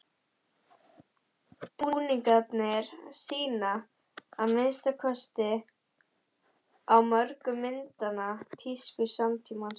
Búningarnir sýna, að minnsta kosti á mörgum myndanna, tísku samtímans.